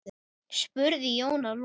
spurði Jón að lokum.